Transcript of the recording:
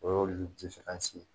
O y'olu di ye